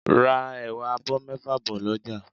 Ra ẹ̀wà abọ́ mẹ́fà bọ̀ lọ́jà